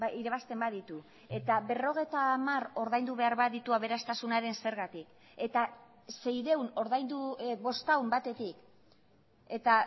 irabazten baditu eta berrogeita hamar ordaindu behar baditu aberastasunaren zergatik eta seiehun ordaindu bostehun batetik eta